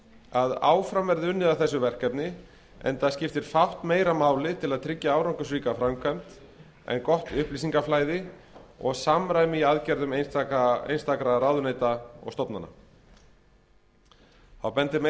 að áfram verði unnið að þessu verkefni enda skiptir fátt meira máli til að tryggja árangursríka framkvæmd en gott upplýsingaflæði og samræmi í aðgerðum einstakra ráðuneyta og stofnana þá bendir meiri